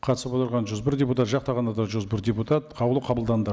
қатысып отырған жүз бір депутат жақтағандар да жүз бір депутат қаулы қабылданды